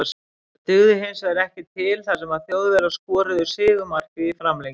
Það dugði hinsvegar ekki til þar sem Þjóðverjar skoruðu sigurmarkið í framlengingu.